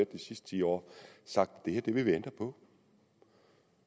de sidste ti år sagt at vi vil ændre på